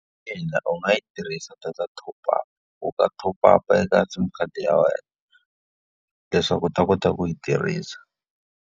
Ina u nga yi tirhisa data ya top up. U nga top up-a eka SIM khadi ya wena leswaku u ta kota ku yi tirhisa.